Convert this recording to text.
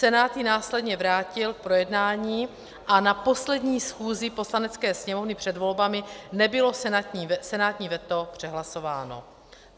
Senát ji následně vrátil k projednání a na poslední schůzi Poslanecké sněmovny před volbami nebylo senátní veto přehlasováno.